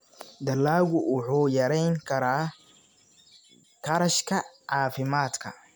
Dalaggu wuxuu yarayn karaa kharashka caafimaadka.